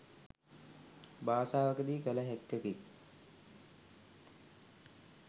භාෂාවකදී කළ හැක්කකි.